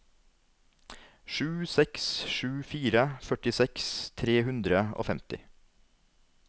sju seks sju fire førtiseks tre hundre og femti